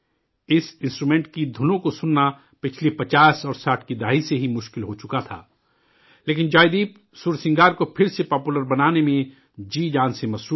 اس instrument کی دُھنوں کو سننا پچھلی 50 اور 60 کی دہائی سے ہی نایاب ہو چکا تھا، لیکن، جوائے دیپ، سرسنگار کو پھر سے پاپولر بنانے میں جی جان سے مصروف ہیں